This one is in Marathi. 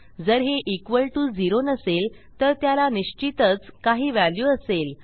जर हे इक्वॉल टीओ zeroनसेल तर त्याला निश्चितच काही व्हॅल्यू असेल